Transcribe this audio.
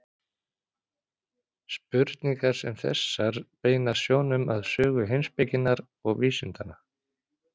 Spurningar sem þessar beina sjónum að sögu heimspekinnar og vísindanna.